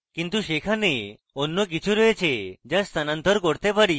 কিন্তু সেখানে অন্য কিছু রয়েছে যা স্থানান্তর করতে পারি